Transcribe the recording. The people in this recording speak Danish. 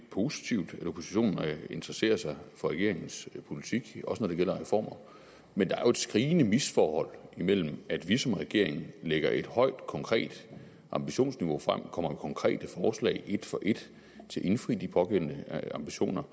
positivt at oppositionen interesserer sig for regeringens politik også når det gælder reformer men der er jo et skrigende misforhold imellem at vi som regering lægger et højt og konkret ambitionsniveau frem og kommer med konkrete forslag et for et til at indfri de pågældende ambitioner